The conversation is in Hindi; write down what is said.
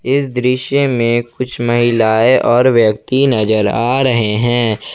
इस दृश्य में कुछ महिलाएं और व्यक्ति नजर आ रहे हैं।